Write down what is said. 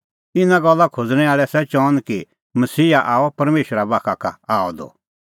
इना गल्ला खोज़णैं आल़ै आसा चअन कि मसीहा आअ परमेशरा बाखा का आअ द